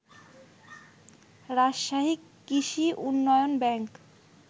রাজশাহী কৃষি উন্নয়ন ব্যাংক